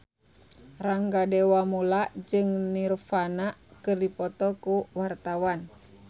Rangga Dewamoela jeung Nirvana keur dipoto ku wartawan